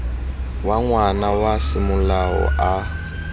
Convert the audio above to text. wa ngwana wa semolao a